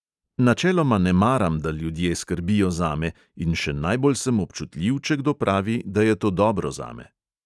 Načeloma ne maram, da ljudje skrbijo zame, in še najbolj sem občutljiv, če kdo pravi, da je to dobro zame.